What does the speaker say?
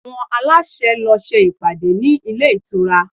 Àwọn aláṣẹ lọ ṣe ìpàdé ní ilé ìtura